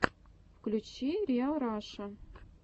включи риал раша